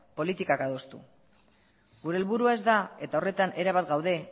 politikak adostu gure helburua ez da eta horretan erabat gaude